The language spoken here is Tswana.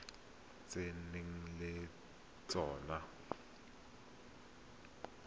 tse o nang le tsona